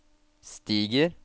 stiger